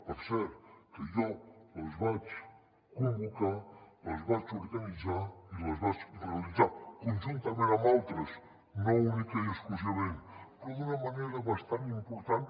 per cert que jo les vaig convocar les vaig organitzar i les vaig realitzar conjuntament amb altres no únicament i exclusivament però d’una manera bastant important